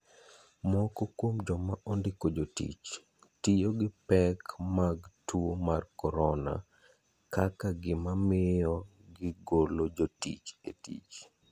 Moko kuom joma ondiko jotich tiyo gi pek mag tuo mar korona kaka gima miyo gigolo jotich e tich.